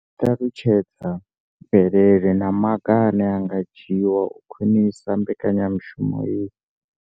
I ṱalutshedza mvelelo na maga ane a nga dzhiwa u khwinisa mbekanyamushumo iyi.